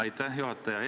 Aitäh, juhataja!